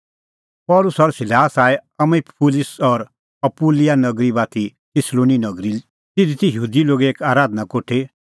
पल़सी और सिलास आऐ अम्फिपुलिस और अपूलोनिया नगरी बाती थिस्सलुनी नगरी तिधी त यहूदी लोगो एक आराधना कोठी